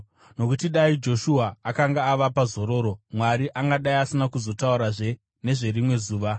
Nokuti dai Joshua akanga avapa zororo, Mwari angadai asina kuzotaurazve nezverimwe zuva.